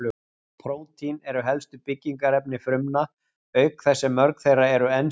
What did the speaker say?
Prótín eru helstu byggingarefni frumna, auk þess sem mörg þeirra eru ensím.